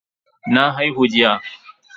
Na haihu jiya.